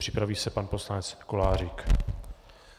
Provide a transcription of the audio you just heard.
Připraví se pan poslanec Kolářík.